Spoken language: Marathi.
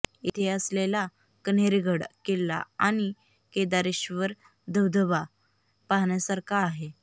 इथे असलेला कण्हेरगड किल्ला आणि केदारेेश्वर धबधबा पाहण्यासारखा आहे